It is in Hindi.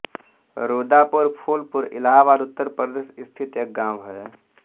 रूदापुर फूलपुर इलाहाबाद उत्तर प्रदेश स्थित एक गाँव है